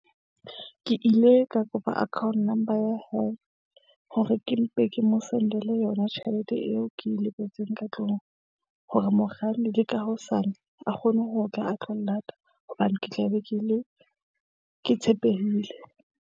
Ke ile ka kopa account number ya hae hore ke mpe ke mo send-ele yona tjhelete eo, ke e lebetseng ka tlung. Hore mokganni le ka hosane a kgone ho tla a tlo nlata, hobane ke tla be ke ile ke tshepehile.